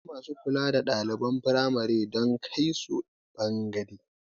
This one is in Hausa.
Akwai masu kula da ɗaliban firamare don kaisu banɗaki